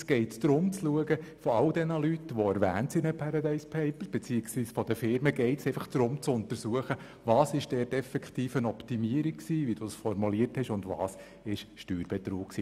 Es geht darum, bei all den in den «Paradise Papers» erwähnten Leuten respektive Firmen zu untersuchen, welches Optimierungen waren und in welchen Fällen ein Steuerbetrug vorliegt.